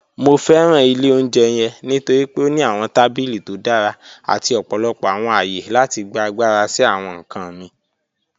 Mo fẹran ilẹ̀ ọ̀unjẹ́ yẹ̀ǹ nítorí pe ó ní awọn tabílí tó dára àti ọ̀pọ̀lọpọ̀ awọn ayé láti gbà agbára sí awọn nkàn mí.